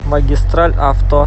магистраль авто